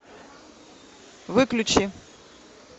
выключи